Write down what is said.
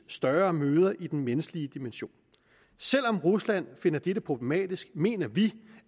større møder i den menneskelige dimension selv om rusland finder dette problematisk mener vi